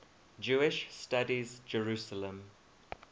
jewish studies jerusalem